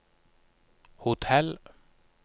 hotell